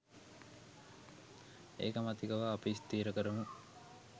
ඒකමතිකව අපි ස්ථිර කරමු